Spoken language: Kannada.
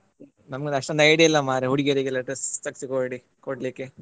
ನಂಗೊಂದು ಅಷ್ಟೆಲ್ಲ idea ಇಲ್ಲ ಮಾರ್ರೆ ಹುಡುಗಿಯರಿಗೆಲ್ಲ dress ತೆಗೆಸಿ ಕೊಡ್~ ಕೊಡ್ಲಿಕ್ಕೆ.